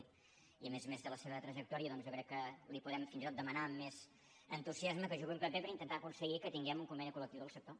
i a més a més per la seva trajectòria doncs jo crec que li podem fins i tot demanar més entusiasme que jugui un paper per intentar aconseguir que tinguem un conveni colsector